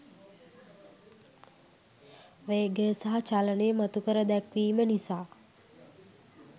වේගය සහ චලනය මතු කර දැක්වීම නිසා